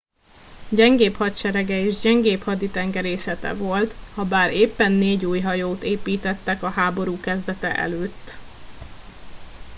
gyengébb hadserege és gyengébb haditengerészete volt habár éppen négy új hajót építettek a háború kezdete előtt